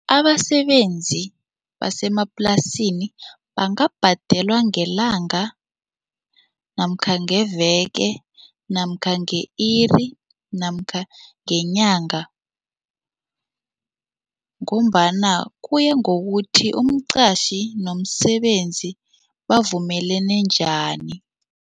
Abasebenzi basemaplasini bangabhadelwa ngelanga namkha ngeveke namkha nge-iri namkha ngenyanga ngombana kuya ngokuthi umqatjhi nomsebenzi bavumelene njani.